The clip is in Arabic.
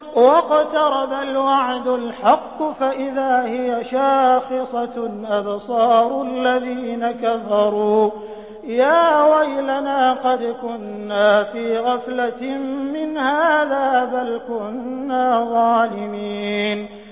وَاقْتَرَبَ الْوَعْدُ الْحَقُّ فَإِذَا هِيَ شَاخِصَةٌ أَبْصَارُ الَّذِينَ كَفَرُوا يَا وَيْلَنَا قَدْ كُنَّا فِي غَفْلَةٍ مِّنْ هَٰذَا بَلْ كُنَّا ظَالِمِينَ